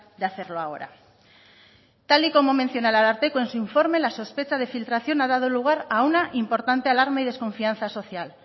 de hacerlo ahora tal y como menciona el ararteko en su informe la sospecha de filtración a dado lugar a una importante alarma y desconfianza social